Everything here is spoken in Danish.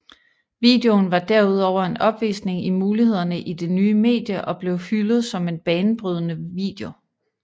Videoen var derudover en opvisning i mulighederne i det nye medie og blev hyldet som en banebrydende video